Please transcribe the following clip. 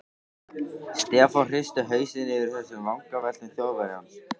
Stefán hristi hausinn yfir þessum vangaveltum Þjóðverjans.